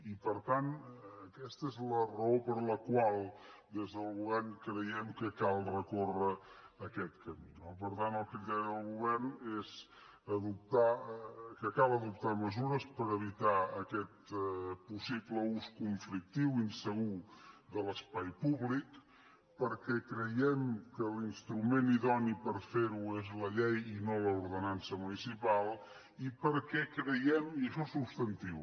i per tant aquesta és la raó per la qual des del govern creiem que cal recórrer aquest camí no per tant el criteri del govern és que cal adoptar mesures per evitar aquest possible ús conflictiu insegur de l’espai públic perquè creiem que l’instrument idoni per fer ho és la llei i no l’ordenança municipal i perquè creiem i això és substantiu